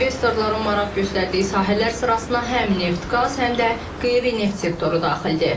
İnvestorların maraq göstərdiyi sahələr sırasına həm neft-qaz, həm də qeyri-neft sektoru daxildir.